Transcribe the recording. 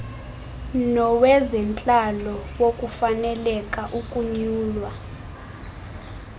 nowezentlalo wokufaneleka ukunyulwa